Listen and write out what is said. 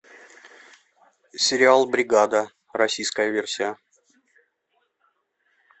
сериал бригада российская версия